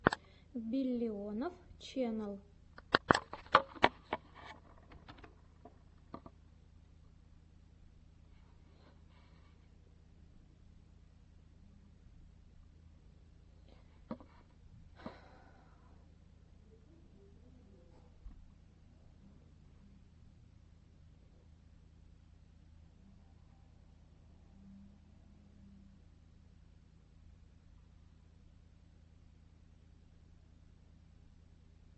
биллионов ченел